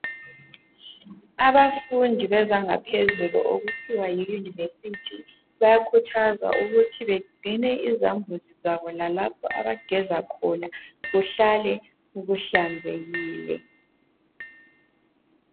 Abafundi bezanga phezulu okuthiwa yi "University" bayakhuthazwa ukuthi begcine izambuzi zabo lalapho abageza khona kuhlale kuhlanzekile.